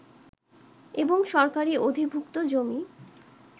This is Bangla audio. এবং সরকারি অধিভুক্ত জমি